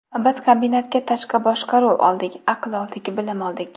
Biz kombinatga tashqi boshqaruv oldik, aql oldik, bilim oldik.